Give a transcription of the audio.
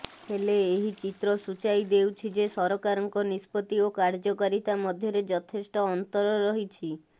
ହେଲେ ଏହି ଚିତ୍ର ସୂଚାଇ ଦେଉଛି େଯ ସରକାରଙ୍କ ନିଷ୍ପତ୍ତି ଓ କାର୍ଯ୍ୟକାରିତା ମଧ୍ୟରେ ଯଥେଷ୍ଟ ଅନ୍ତର ରହିଛି